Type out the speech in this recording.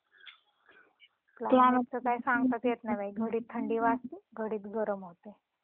Climate च काही सांगताच येत नाही बाई घडीत थंडी वाजती घडीत गरम होतंय.